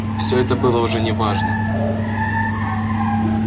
всё это было уже не важно